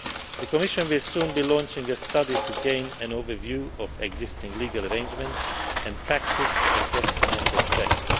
The Commission will soon be launching a study to gain an overview of existing legal arrangements and practice across the Member States.